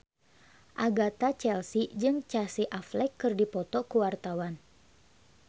Agatha Chelsea jeung Casey Affleck keur dipoto ku wartawan